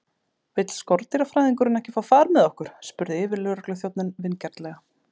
Vill skordýrafræðingurinn ekki fá far með okkur? spurði yfirlögregluþjónninn vingjarnlega.